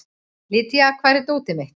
Lydia, hvar er dótið mitt?